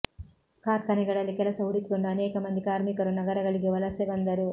ಕಾರ್ಖಾನೆಗಳಲ್ಲಿ ಕೆಲಸ ಹುಡುಕಿಕೊಂಡು ಅನೇಕ ಮಂದಿ ಕಾರ್ಮಿಕರು ನಗರಗಳಿಗೆ ವಲಸೆ ಬಂದರು